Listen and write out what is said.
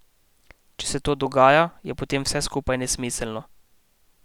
Če se to dogaja, je potem vse skupaj nesmiselno.